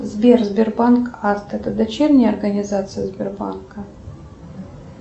сбер сбербанк авто это дочерняя организация сбербанка